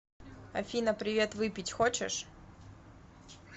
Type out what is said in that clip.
афина привет выпить хочешь